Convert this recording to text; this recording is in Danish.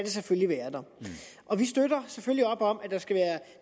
selvfølgelig være der og vi støtter selvfølgelig op om